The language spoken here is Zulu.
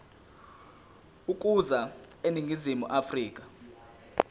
ukuza eningizimu afrika